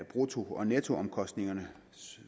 brutto og nettoomkostningerne